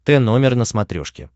т номер на смотрешке